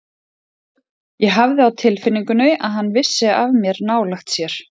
Ég hafði á tilfinningunni að hann vissi af mér nálægt sér.